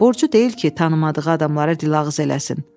Borcu deyil ki, tanımadığı adamlara diloğuz eləsin.